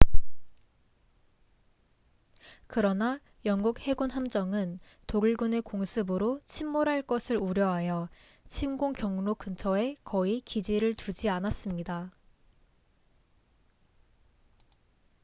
그러나 영국 해군 함정은 독일군의 공습으로 침몰할 것을 우려하여 침공 경로 근처에 거의 기지를 두지 않았습니다